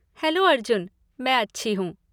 Hello Arjun! मैं अच्छी हूँ।